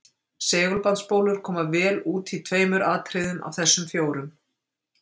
Segulbandsspólur koma vel út í tveimur atriðum af þessum fjórum.